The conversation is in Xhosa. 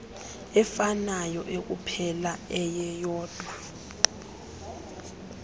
efanayo ekuphela eyeyodwa